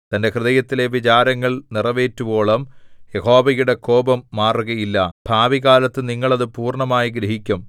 തന്റെ ഹൃദയത്തിലെ വിചാരങ്ങൾ നിറവേറ്റുവോളം യഹോവയുടെ കോപം മാറുകയില്ല ഭാവികാലത്തു നിങ്ങൾ അത് പൂർണ്ണമായി ഗ്രഹിക്കും